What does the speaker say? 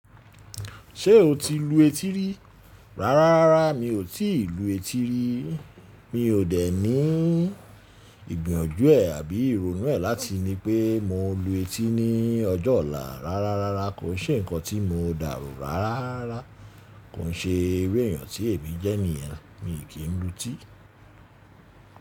Ṣé o ti lu etí rí? Rárá rárá mi ò tí ì lu etí rí. Mi ò dẹ̀ ní ìgbìyànjú ẹ̀ àbí ìrònú ẹ̀ láti ní pé mo lu etí ní ọjọ́ ọ̀la. Rárá rárá kò ṣe ǹkan tí mọ dàrò rárárara. Kò ṣe iru èyàn tí èmi jẹ́ ni yẹn. Mi kì í lu etí.